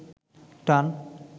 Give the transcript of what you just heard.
টান